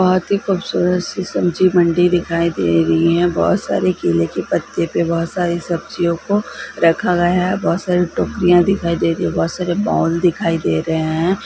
बहुत ही खूबसूरत सी सब्जी मंडी दिखाई दे रही है बहुत सारे केले के पत्ते पे बहुत सारी सब्जियों को रखा गया है बहुत सारी टोकरिया दिखाई दे रही है बहुत सारे बॉल दिखाई दे रहे है।